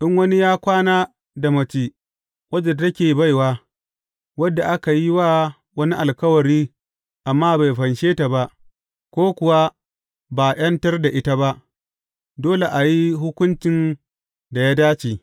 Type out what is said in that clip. In wani ya kwana da mace wadda take baiwa, wadda aka yi wa wani alkawari amma bai fanshe ta ba, ko kuwa ba a ’yantar da ita ba, dole a yi hukuncin da ya dace.